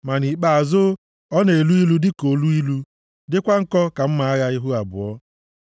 Ma nʼikpeazụ, ọ na-elu ilu dịka oluilu dịkwa nkọ ka mma agha ihu abụọ.